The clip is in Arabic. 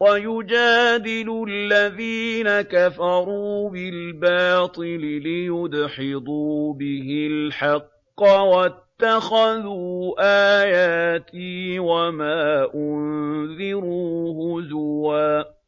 وَيُجَادِلُ الَّذِينَ كَفَرُوا بِالْبَاطِلِ لِيُدْحِضُوا بِهِ الْحَقَّ ۖ وَاتَّخَذُوا آيَاتِي وَمَا أُنذِرُوا هُزُوًا